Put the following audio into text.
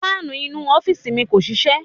Fáànù inú u ọ́fíìsì mi kò ṣiṣẹ́.